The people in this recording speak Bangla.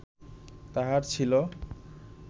তাঁহার ছিল